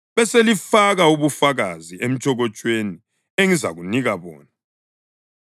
Beselifaka ubufakazi emtshokotshweni engizakunika bona.